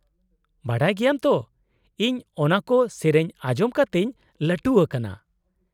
-ᱵᱟᱰᱟᱭ ᱜᱮᱭᱟᱢ ᱛᱚ, ᱤᱧ ᱚᱱᱟᱠᱚ ᱥᱮᱹᱨᱮᱹᱧ ᱟᱸᱡᱚᱢ ᱠᱟᱛᱮᱧ ᱞᱟᱹᱴᱩ ᱟᱠᱟᱱᱟ ᱾